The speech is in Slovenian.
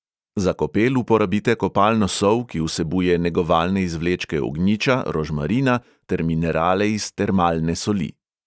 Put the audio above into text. Za kopel uporabite kopalno sol, ki vsebuje negovalne izvlečke ognjiča, rožmarina ter minerale iz termalne soli.